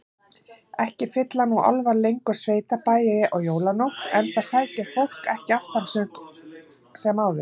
Ekki fylla nú álfar lengur sveitabæi á jólanótt, enda sækir fólk ekki aftansöng sem áður.